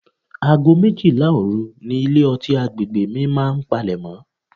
Ago méjìlá òru ni ilé-ọtí àgbègbè mi máa ń palemo.